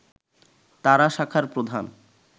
তারা শাখার প্রধান